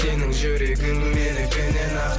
сенің жүрегің менікінен ақ